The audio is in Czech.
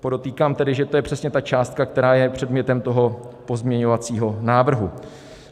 Podotýkám tedy, že to je přesně ta částka, která je předmětem toho pozměňovacího návrhu.